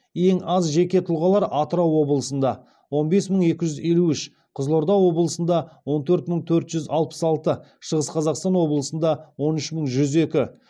ең аз жеке тұлғалар атырау облысында он бес мың екі жүз елу үш қызылорда облысында он төрт мың төрт жүз алпыс алты шығыс қазақстан облысында он үш мың жүз екі